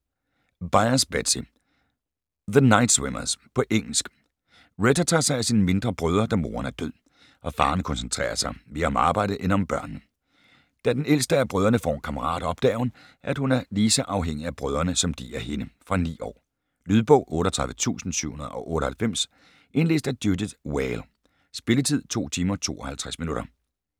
Byars, Betsy: The night swimmers På engelsk. Retta tager sig af sine mindre brødre, da moren er død, og faren koncentrerer sig mere om arbejdet end om børnene. Da den ældste af brødrene får en kammerat, opdager hun, at hun er lige så afhængig af brødrene som de af hende. Fra 9 år. Lydbog 38798 Indlæst af Judith Whale. Spilletid: 2 timer, 52 minutter.